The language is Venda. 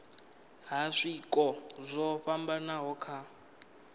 ha zwiko zwo fhambanaho kha